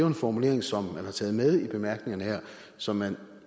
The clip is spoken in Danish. en formulering som man har taget med i bemærkningerne her som man